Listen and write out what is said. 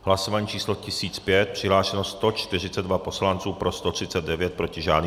Hlasování číslo 1005, přihlášeno 142 poslanců, pro 139, proti žádný.